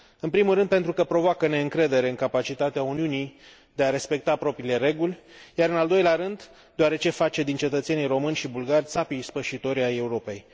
În primul rând, pentru că provoacă neîncredere în capacitatea Uniunii de a respecta propriile reguli, iar în al doilea rând, deoarece face din cetățenii români și bulgari țapii ispășitori ai Europei.